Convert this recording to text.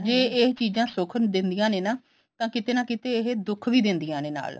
ਜੇ ਇਹ ਚੀਜਾਂ ਸੁੱਖ ਦੈਂਦੀਆਂ ਨੇ ਤਾਂ ਕਿਤੇ ਨਾ ਕਿਤੇ ਇਹ ਦੁੱਖ ਵੀ ਦੈਂਦੀਆਂ ਨੇ ਨਾਲ